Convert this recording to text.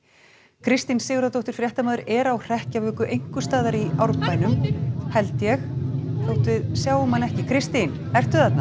Kristín Sigurðardóttir fréttamaður er á hrekkjavöku einhvers staðar í Árbænum held ég þótt við sjáum hana ekki Kristín ertu þarna